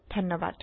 ধণ্যবাদ